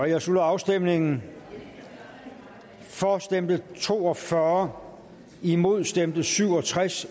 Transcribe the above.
jeg slutter afstemingen for stemte to og fyrre imod stemte syv og tres